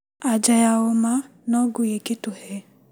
Anja ya ũma no ngui ĩngĩtuhe.